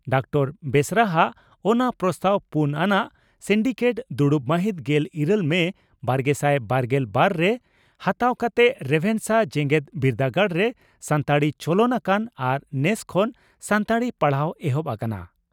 Doctor ᱵᱮᱥᱨᱟ ᱦᱟᱜ ᱚᱱᱟ ᱯᱨᱚᱥᱛᱟᱵᱽ ᱯᱩᱱ ᱟᱱᱟᱜ ᱥᱤᱱᱰᱤᱠᱮᱴ ᱫᱩᱲᱩᱵ ᱢᱟᱦᱤᱛ ᱜᱮᱞ ᱤᱨᱟᱹᱞ ᱢᱮ ᱵᱟᱨᱜᱮᱥᱟᱭ ᱵᱟᱨᱜᱮᱞ ᱵᱟᱨ ) ᱨᱮ ᱦᱟᱛᱟᱣ ᱠᱟᱛᱮ ᱨᱮᱵᱷᱮᱱᱥᱟ ᱡᱮᱜᱮᱛ ᱵᱤᱨᱫᱟᱹᱜᱟᱲᱨᱮ ᱥᱟᱱᱛᱟᱲᱤ ᱪᱚᱞᱚᱱ ᱟᱠᱟᱱᱟ ᱟᱨ ᱱᱮᱥ) ᱠᱷᱚᱱ ᱥᱟᱱᱛᱟᱲᱤ ᱯᱟᱲᱦᱟᱣ ᱮᱦᱚᱵ ᱟᱠᱟᱱᱟ ᱾